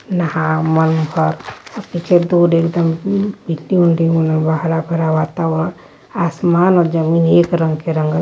नहा मन भर आ पीछे दू डेग बनल बा हरा भरा वातावरण आसमान आ जमीन एक रंग के रंगल --